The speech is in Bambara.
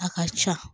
A ka ca